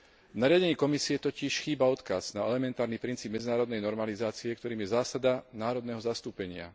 V nariadení Komisie totiž chýba odkaz na elementárny princíp medzinárodnej normalizácie, ktorým je zásada národného zastúpenia.